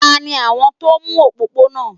Tani àwọn tó ń nu òpópónà?